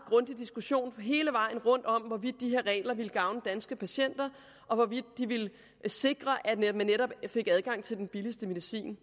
diskussion hele vejen rundt om hvorvidt de her regler ville gavne danske patienter og hvorvidt de ville sikre at patienterne netop fik adgang til den billigste medicin